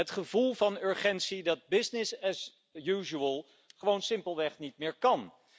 Het gevoel van urgentie dat business as usual gewoon simpelweg niet meer kan.